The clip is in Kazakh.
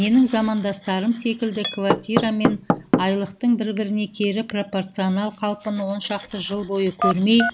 менің замандастарым секілді квартира мен айлықтың бір біріне кері пропроционал қалпын оншақты жыл бойы көрмей